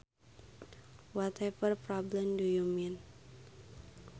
Whatever problem do you mean